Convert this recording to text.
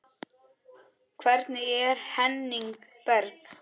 Hvernig er Henning Berg?